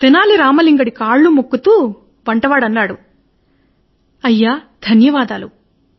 తెనాలి రామ లింగడి కళ్ళు మొక్కుతూ అన్నాడు మంత్రి గారు ధన్యవాదాలు